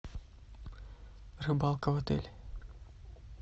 рыбалка в отеле